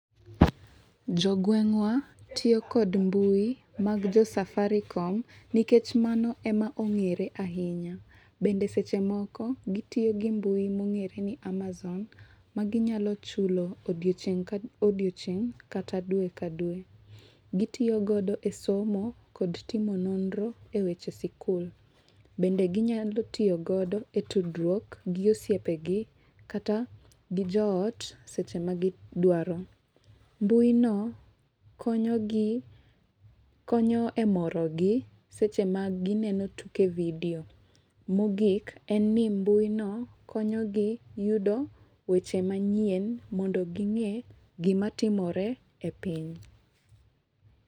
Jo gweng wa tiyo gi mbui mag jo safaricom nikech mago e ma ong'ere ahinya. Bende seche moko gi tiyo gi mbui mo ongere ni amazon ma gi nyalo chulo odiechieng ka odiechieng kata dwe ka dwe. Gi tiyo godo e somo kod timo nonro e weche skul. Bende gi nyalo tiyo godo e tudryuok gi osiepe gimkata gi jo ot seche ma gi dwaro. Mbui no konyo gi konyo e moro gi seche ma gi neno tuke video. Mo ogik en ni mbui no konyo gi yudo weche manyien mondo gi nge gi ma timore e piny.